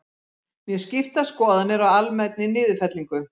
Mjög skiptar skoðanir á almennri niðurfellingu